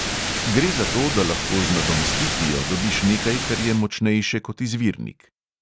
Gre za to, da lahko z nadomestitvijo dobiš nekaj, kar je močnejše kot izvirnik.